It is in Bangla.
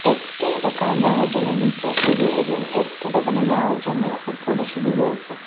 একটি দোকানে যাওয়ার জন্য নীচে সিঁড়ি এবং একটি দোকানে যাওয়ার জন্যে উপরে সিঁড়ি রয়েছে।